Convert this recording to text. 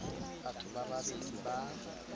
batho ba ba bedi ba